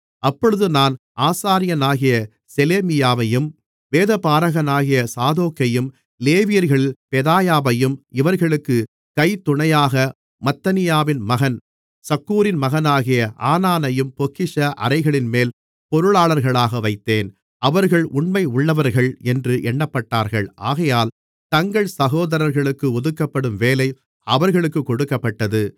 அப்பொழுது நான் ஆசாரியனாகிய செலேமியாவையும் வேதபாரகனாகிய சாதோக்கையும் லேவியர்களில் பெதாயாவையும் இவர்களுக்குக் கைத்துணையாக மத்தனியாவின் மகன் சக்கூரின் மகனாகிய ஆனானையும் பொக்கிஷ அறைகளின்மேல் பொருளாளர்களாக வைத்தேன் அவர்கள் உண்மையுள்ளவர்கள் என்று எண்ணப்பட்டார்கள் ஆகையால் தங்கள் சகோதரர்களுக்கு ஒதுக்கப்படும் வேலை அவர்களுக்கு கொடுக்கப்பட்டது